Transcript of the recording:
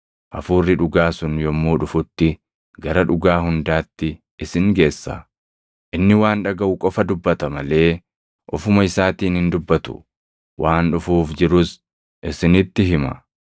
Hafuurri dhugaa sun yommuu dhufutti gara dhugaa hundaatti isin geessa. Inni waan dhagaʼu qofa dubbata malee ofuma isaatiin hin dubbatu; waan dhufuuf jirus isinitti hima.